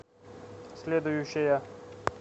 следующая